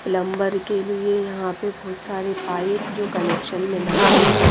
Plumber के लिए यहां पे बहुत सारे पाइप जो कनेक्शन में लगते हैं।